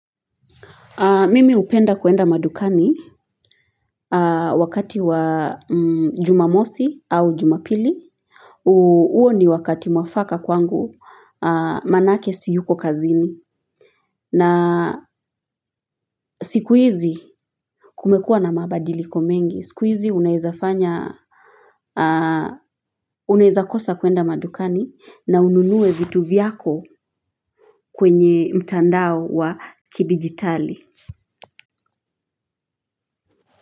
Mimi hupenda kwenda madukani wakati wa jumamosi au jumapili. Huo ni wakati mwafaka kwangu manake siyuko kazini. Na siku hizi kumekuwa na mabadiliko mengi. Siku hizi unaweza kosa kwenda madukani na ununue vitu vyako kwenye mtandao wa kidigitali.